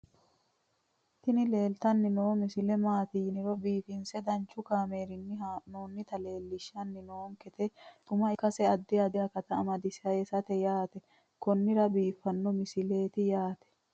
tini leeltanni noo misile maaati yiniro biifinse danchu kaamerinni haa'noonnita leellishshanni nonketi xuma ikkase addi addi akata amadaseeti yaate konnira biiffanno misileeti tini